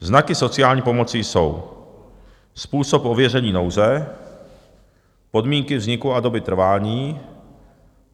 Znaky sociální pomoci jsou: způsob ověření nouze, podmínky vzniku a doby trvání.